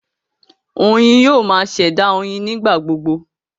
Oyin yoo ma ṣẹ̀dá oyin nigbagbogbo